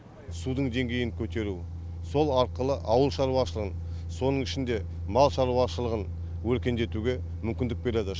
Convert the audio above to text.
судың деңгейін көтеру сол арқылы ауыл шаруашылығын соның ішінде мал шаруашылығын өркендетуге мүмкіндік береді